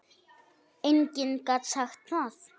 Enginn gat sagt það.